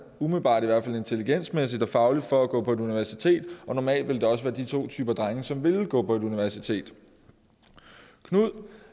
umiddelbart i hvert fald intelligensmæssigt og fagligt for at gå på universitetet og normalt ville det også være de to typer af drenge som ville gå på universitetet knud